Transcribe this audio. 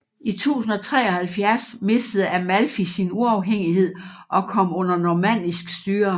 I 1073 mistede Amalfi sin uafhængighed og kom under normannisk styre